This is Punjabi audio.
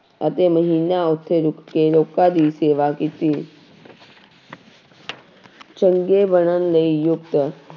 ਅਤੇ ਮਹੀਨਾ ਉੱਥੇ ਰੁੱਕੇ, ਲੋਕਾਂ ਦੀ ਸੇਵਾ ਕੀਤੀੌ ਚੰਗੇ ਬਣਨ ਲਈ ਯੁਕਤ